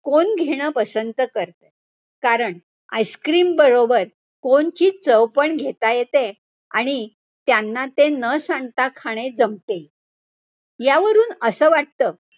Cone घेणं पसंत करते. कारण ice cream बरोबर cone ची चव पण घेता येती आणि त्यांना ते न सांडता खाणे जमते. यावरून असं वाटत.